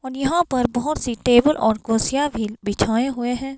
और यहां पर बहोत सी टेबल और कुर्सियां भी बिछाए हुए हैं।